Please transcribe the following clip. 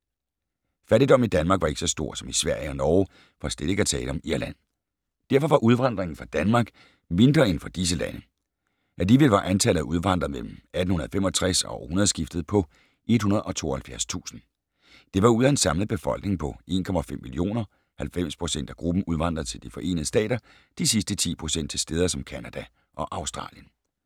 Fattigdommen i Danmark var ikke så stor som i Sverige og Norge, for slet ikke at tale om Irland. Derfor var udvandringen fra Danmark mindre end fra disse lande. Alligevel var antallet af udvandrere mellem 1865 og århundredeskiftet på 172.000. Det var ud af en samlet befolkning på ca. 1,5 millioner. 90 % af gruppen udvandrede til De forenede Stater, de sidste 10 % til steder som Canada og Australien.